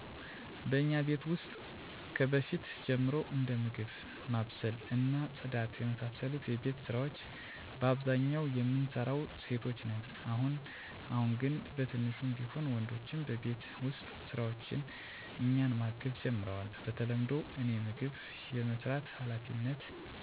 በእኛ ቤት ውስጥ ከበፊት ጀምሮ እንደ ምግብ ማብሰል እና ጽዳት የመሳሰሉ የቤት ስራወች በአብዛኛው የምንሰራው ሴቶች ነን። አሁን አሁን ግን በትንሹም ቢሆን ወንድሞቸ በቤት ውስጥ ስራዎች እኛን ማገዝ ጀምረዋል። በተለምዶ እኔ ምግብ የመስራት ሀላፊነት ያለኝ ሲሆን ታላቅ እህቴ ደግሞ ታናናሽ እህቶቻችንን የመንከባከብና የማስጠናት ስራ ትሰራለች። ወንድሞቸ ደግሞ በፅዳት ያግዛሉ። ይህ ሀላፊነት የሚወሰነው በእርስ በርስ ስምምነት ነው። ነገር ግን ይህ በአብዛኛው የሚሆነው ነው እንጅ እንዳስፈላጊነቱ የምንወስደው ሀላፊነት ሊቀያየር ይችላል።